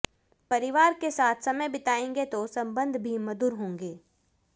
परिवार के साथ समय बिताएंगे तो संबंध भी मधुर होंगे